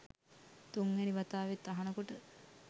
තුන්වැනි වතාවෙත් අහනකොට